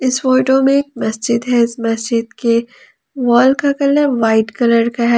इस फोटो में मस्जिद है इस मस्जिद के वॉल का कलर व्हाइट कलर का है।